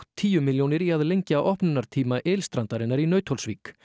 tíu milljónir í að lengja opnunartíma ylstrandarinnar í Nauthólsvík